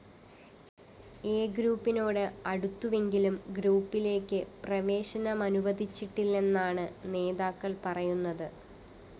A ഗ്രൂപ്പിനോട് അടുത്തുവെങ്കിലും ഗ്രൂപ്പിലേക്ക് പ്രവേശനമനുവദിച്ചിട്ടില്ലെന്നാണ് നേതാക്കള്‍ പറയുന്നത്